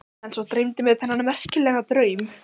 En svo dreymdi mig þennan merkilega draum.